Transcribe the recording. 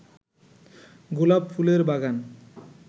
গোলাপ ফুলের বাগান